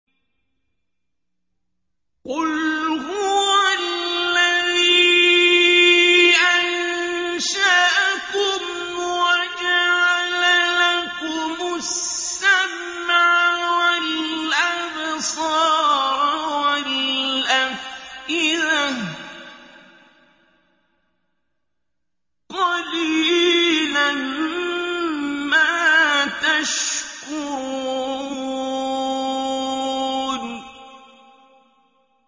قُلْ هُوَ الَّذِي أَنشَأَكُمْ وَجَعَلَ لَكُمُ السَّمْعَ وَالْأَبْصَارَ وَالْأَفْئِدَةَ ۖ قَلِيلًا مَّا تَشْكُرُونَ